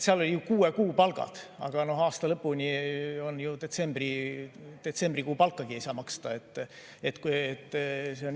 Seal olid kuue kuu palgad, aga aasta lõpuni on vähe aega, detsembrikuu palkagi ei saa maksta.